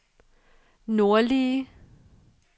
nordlige